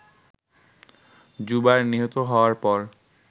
জুবায়ের নিহত হওয়ার পর